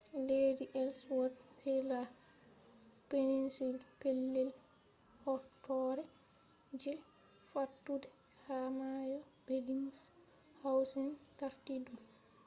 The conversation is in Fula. ledii elswot on pellel horɗoore je fattude peninsula ha mayo belingshawsen tarti ɗum